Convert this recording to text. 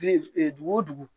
dugu wo dugu